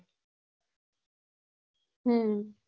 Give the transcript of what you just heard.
હમ